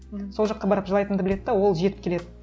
сол жаққа барып жылайтынымды біледі де ол жетіп келеді